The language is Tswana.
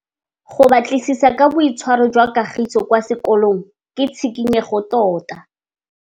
Go batlisisa ka boitshwaro jwa Kagiso kwa sekolong ke tshikinyêgô tota.